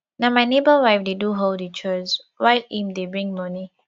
na my nebor wife dey do all di chores while im dey bring moni